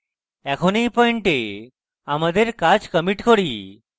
এখন এই পয়েন্টে আমাদের কাজ commit করি